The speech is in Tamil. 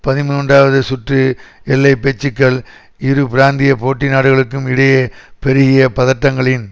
பதிமூன்றுவது சுற்று எல்லை பேச்சுக்கள் இரு பிராந்திய போட்டி நாடுகளுக்கும் இடையே பெருகிய பதட்டங்களின்